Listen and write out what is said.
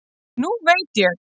Nú velt ég!